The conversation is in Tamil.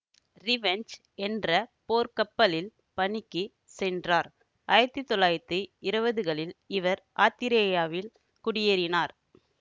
ரிவெஞ்ச் என்ற போர்க்கப்பலில் பணிக்குச் சென்றார் ஆயிரத்தி தொள்ளாயிரத்தி இருவதுகளில் இவர் ஆத்திரேயாவில் குடியேறினார்